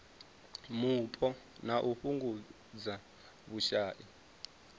mupo na u fhungudza vhushai